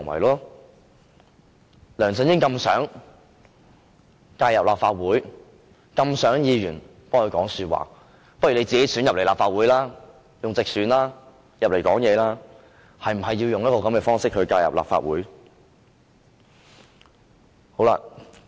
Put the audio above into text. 梁振英這麼想介入立法會，這麼想議員替他說話，倒不如自己經直選進入立法會，而不要用這種方式來介入立法會。